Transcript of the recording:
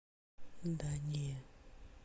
да не